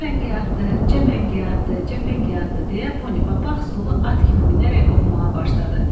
Cəfəngiyatdır, cəfəngiyatdır, cəfəngiyatdır deyə Ponipapaq stulu at kimi minərək oxumağa başladı.